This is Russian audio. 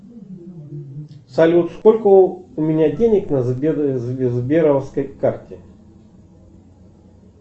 салют сколько у меня денег на сберовской карте